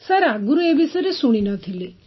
sir ଆଗରୁ ଏ ବିଷୟରେ ଶୁଣି ନ ଥିଲି